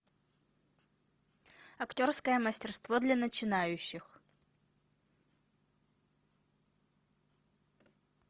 актерское мастерство для начинающих